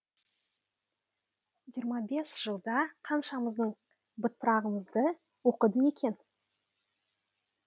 жиырма бес жылда қаншамыздың бытпырағымызды оқыды екен